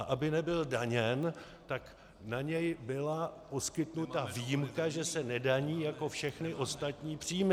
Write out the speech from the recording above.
A aby nebyl daněn, tak na něj byla poskytnuta výjimka, že se nedaní jako všechny ostatní příjmy.